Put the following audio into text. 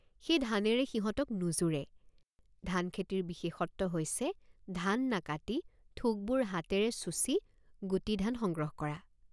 সেই ধানেৰে সিহঁতক নোজোৰে। সেই ধানেৰে সিহঁতক নোজোৰে। ধানখেতিৰ বিশেষত্ব হৈছে ধান নাকাটি থোকবোৰ হাতেৰে চুচি গুটি ধান সংগ্ৰহ কৰা।